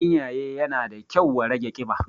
Ganyaye yana da kyau wa rage ƙiba